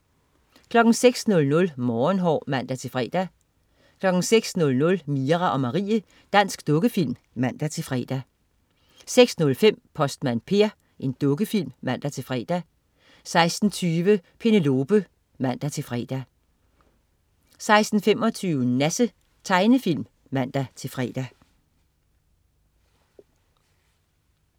06.00 Morgenhår (man-fre) 06.00 Mira og Marie. Dansk tegnefilm (man-fre) 06.05 Postmand Per. Dukkefilm (man-fre) 06.20 Penelope (man-fre) 06.25 Nasse. Tegnefilm (man-fre)